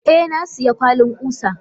Eh nasiya kwalin kusa.